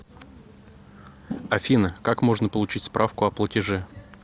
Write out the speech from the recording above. афина как можно получить справку о платеже